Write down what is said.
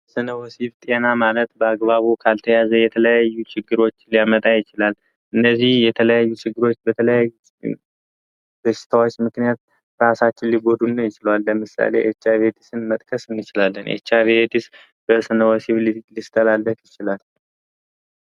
ስለ ወሲብ ጤና ማለት በአግባቡ ካልተያዘ የተለያዩ ችግሮች ሊያመጣ ይችላል። እነዚህ የተለያዩ ችግሮች በተለይ በሽታዎች ምክንያት ራሳችን ሊጎ ይችላል። ለምሳሌ ኤች አይቪ ኤድስን መጥቀስ እንችላለን ኤች አይቪ ኤድስ ሊተላለፍ ይችላል።